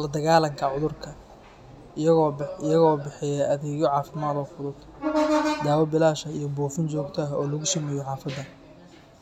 la-dagaalanka cudurka, iyagoo bixiya adeegyo caafimaad oo fudud, daawo bilaash ah iyo buufin joogto ah oo lagu sameeyo xaafadaha.